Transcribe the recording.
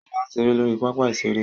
Ṣọlá ń ṣeré lórí pápá ìṣeré